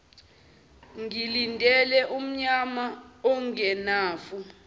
ngilinde umnyama ongenafu